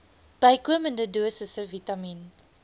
bykomende dosisse vitamien